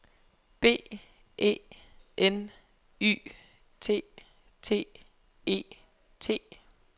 B E N Y T T E T